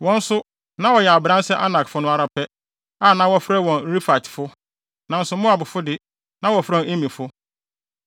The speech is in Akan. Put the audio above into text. Wɔn nso, na wɔyɛ abran sɛ Anakfo no ara pɛ, a na wɔfrɛ wɔn Refaitefo, nanso Moabfo de, na wɔfrɛ wɔn Emifo.